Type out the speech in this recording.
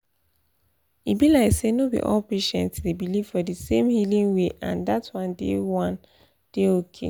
e be like say no be all patients dey believe for di same healing way and dat one dey one dey okay.